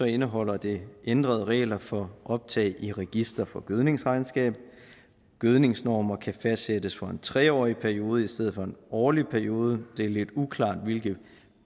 indeholder det ændrede regler for optag i register for gødningsregnskab gødningsnormer kan fastsættes for en tre årig periode i stedet for en årlig periode det er lidt uklart hvilke